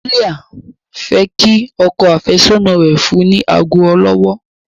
Julia fẹ kí ọkọ afesọna rẹ fún ni ago olówó.